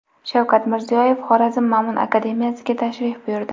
Shavkat Mirziyoyev Xorazm Ma’mun akademiyasiga tashrif buyurdi.